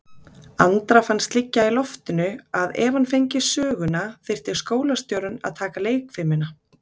Andra fannst liggja í loftinu að ef hann fengi söguna þyrfti skólastjórinn að taka leikfimina.